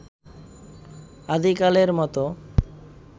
আদিকালের মত